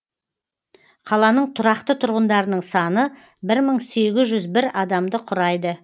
қаланың тұрақты тұрғындарының саны бір мың сегіз жүз бір адамды құрайды